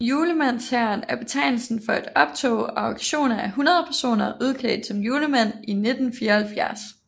Julemandshæren er betegnelsen for et optog og aktioner af 100 personer udklædt som julemænd i 1974